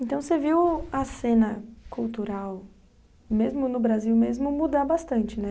Então você viu a cena cultural, mesmo no Brasil mesmo, mudar bastante, né?